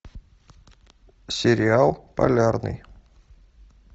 сериал полярный